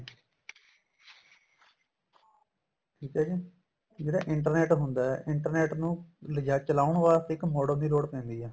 ਠੀਕ ਏ ਜੀ ਕੀ ਜਿਹੜਾ internet ਹੁੰਦਾ internet ਨੂੰ ਲਿਜਾ ਚਲਾਉਣ ਵਾਸਤੇ ਇੱਕ modem ਦੀ ਲੋੜ ਪੈਂਦੀ ਏ